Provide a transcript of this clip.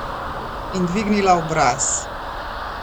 In dvignila obraz.